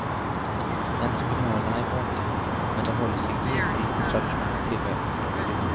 Entreprenörerna är många, men de håller sig envist till traditionell tillverkningsindustri.